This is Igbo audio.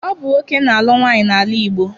Ọ bụ nwoke na-alụ nwaanyị n'ala Igbo.